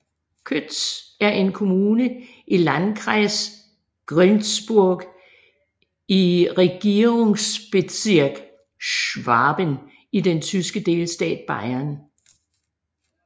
Kötz er en kommune i Landkreis Günzburg i Regierungsbezirk Schwaben i den tyske delstat Bayern